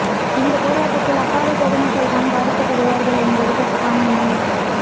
இந்த போராட்டத்தால் அப்பாவி பொதுமக்கள் தான் பாதிக்கப்படுவார்கள் என்பது கசப்பான உண்மை